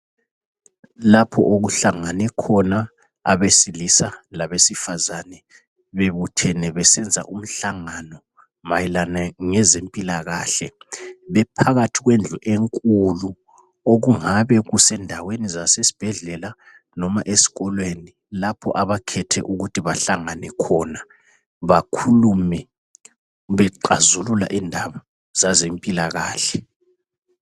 Lapho okuhlangane khona abesilisa labesifazane, bebuthene besenza umhlangano mayelana ngezempilakahle. Bephakathi kwendlu enkulu okungabe kusendaweni zasesibhedlela noma eskolweni lapho abakhethe ukuthi bahlangane khona, bakhulume bexazulula indaba zazempilakahle.